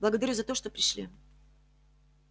благодарю за то что пришли